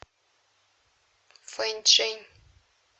фэнчжэнь